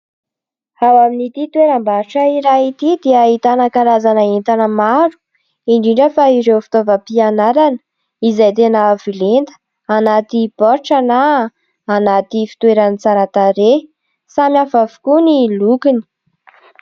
Ao amin'ity toeram-barotra iray ity dia ahitana karazana entana maro, indrindra fa ireo fitaovam-pianarana izay tena avo lenta, anaty baoritra na anaty fitoerany tsara tarehy ; samihafa avokoa ny lokony.